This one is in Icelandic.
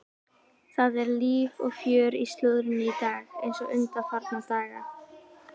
Það er líf og fjör í slúðrinu í dag eins og undanfarna daga.